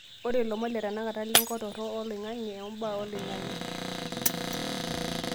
ore lomon le tanakata le nkop torok o oloingange ombaa oliongange